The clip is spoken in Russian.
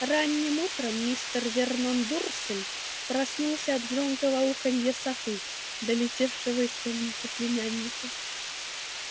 ранним утром мистер вернон дурсль проснулся от громкого уханья совы долетевшего из комнаты племянника